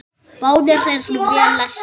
Báðir eru vel lesnir.